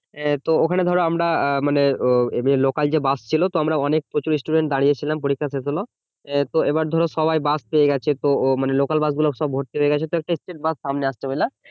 আহ তো ঐখানে ধরো আমরা আহ মানে ও এদের লোকাল যে বাস ছিল তো আমরা অনেক প্রচুর student দাঁড়িয়ে ছিলাম পরীক্ষা শেষ হলো আহ তো এইবার ধরো সবাই বাস পেয়ে গেছে তো মানে লোকাল বাস গুলো সব ভর্তি হয়েগেছে তো একটা state বাস সামনে আসছে বুঝলা